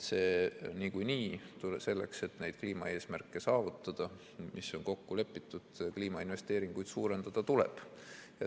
Niikuinii selleks, et neid kliimaeesmärke saavutada, mis on kokku lepitud, kliimainvesteeringuid suurendada tuleb.